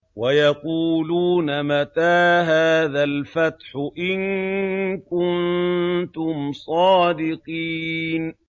وَيَقُولُونَ مَتَىٰ هَٰذَا الْفَتْحُ إِن كُنتُمْ صَادِقِينَ